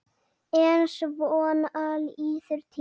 En svona líður tíminn.